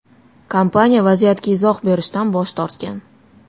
Kompaniya vaziyatga izoh berishdan bosh tortgan.